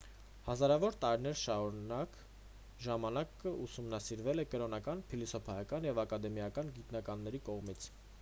հազարավոր տարիներ շարունակ ժամանակն ուսումնասիրվել է կրոնական փիլիսոփայական և ակադեմիական գիտնականների կողմից